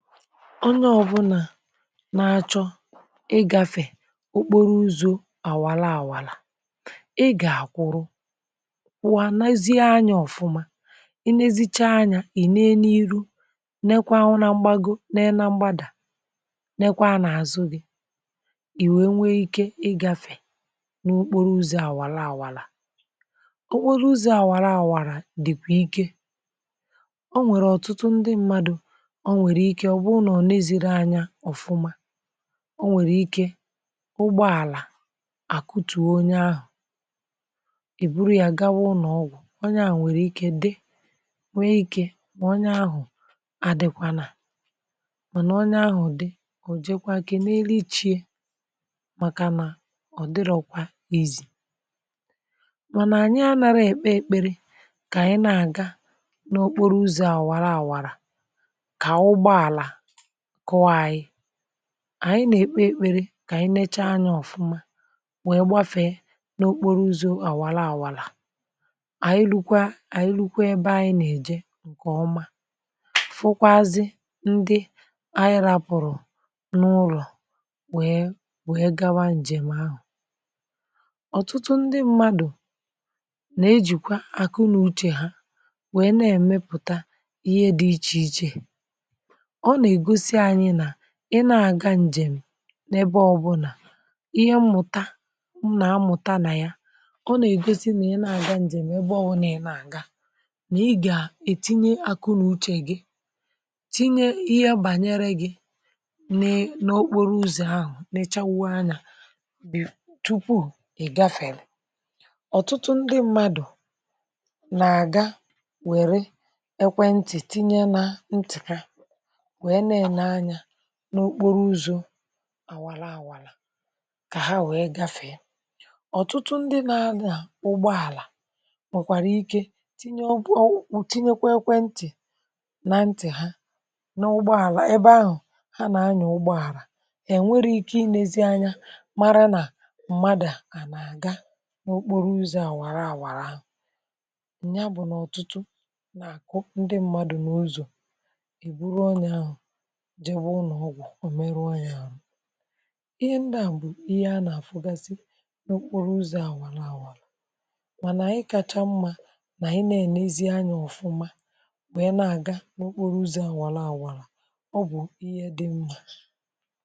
Onye ọbụna nà-achọ ịgȧfè okporo uzȯ àwara àwara, ịgȧ akwuru, wa nezie anya ọ̀fụma, ịnèzichaa anya ìne n’ihu, nekwaa na mgbago, nekwa na mgbada, nekwaa n’azụ̇ gị̇, ì wèe nwee ikė ịgȧfè n’okporo uzȯ àwara àwara. Okporo uzȯ àwara àwara dị̀kwà ike, o nwèrè ọtụtụ ndị mmadụ̇ onwere ike, ọ bùrù na ọ nà-èzighi anya ọ̀fụma, onwere ike ụgbọàlà àkụtụ̀ onye ahụ̀. Ẹ buru ya gawa ụnọ̀ọgwụ̀, onye à nwèrè ike dị, nwee ikė nà onye ahụ̀ adịkwànà, mànà onye ahụ̀ dị, ò jekwa kènelu chi e, màkà nà ọ̀ dịrọkwa easy. Mànà anyị à nàrà èkpe èkpere kà ànyị nà-àga n’okporo uzȯ àwara àwàrà, ka ụgbọàlà kùo ànyị, ànyị nà-ekpe èkpere kà ànyị necha anyȧ ọ̀fụma wèe gbafèe n’okporo uzȯ àwara àwara, ànyị rukwa, ànyị rukwa ebe ànyị nà-èje ǹkè ọma. Fụkwazie ndị anyị rapụ̀rụ̀ n’ụlọ̀ wee wèe gawa ǹjèm ahụ̀. Ọ̀tụtụ ndị mmadụ̀ nà-ejìkwa àkụ n’uche ha wèe na-èmepùta ihe dị iche iche, ọ na-egosi anyị nà ì na-àga ǹjèm̀ n’ebe ọbụlà. Ihe mmụ̀ta na-amụ̀ta nà ya, ọ nà-ègosi nà ị nà-àga ǹjèm̀ ebe ọbụna ị nà-àga, nà ị gà-ètinye akụ̇ n’uche gị, tinye ihe bànyere gị̇ n’okporo uzȯ̀ ahụ̀, nechawụ anyȧ tupu ìgafèlè. Ọ̀tụtụ ndị mmadụ̀ nà-àga wère ekwe ntì, tinye na ntì ha, nwee na-ele anya n’okporo uzȯ̇ àwara àwara kà hà wee gafèe. Ọ̀tụtụ ndị nȧ-anya ụgbọ àlà nwekwara ike tinye, tinyekwa ekwe ntì nà ntì̀ ha n’ụgbọ àlà ebe ahụ̀ hà nà-anya ụgbọ àlà. È nwere ike inėzi anya, mara nà mmadu̇ à nà-àga n’okporo uzȯ̇ àwara àwara ahụ̀. Ya bụ̀ nà ọ̀tụtụ nà-àkụ ndị mmadu̇ nà ụzọ̀, ẹ buru onye ahụ̀ jee be ụlọ̀ọgwụ, ẹ meruo ya àhụ, ihe ndị a bụ̀ ihe a nà-àfụgasị n’okporo uzȯ àwara àwàra. Mànà ikacha mmȧ nà ị nà-ènezi anya ọ̀fụma, nwe nà na-àga n’okporo uzȯ àwàra àwàra, ọ bụ̀ ihe dị mmȧ.